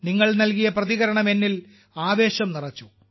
നിങ്ങൾ നൽകിയ പ്രതികരണം എന്നിൽ ആവേശം നിറച്ചു